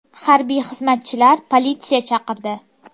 Harbiy xizmatchilar politsiya chaqirdi.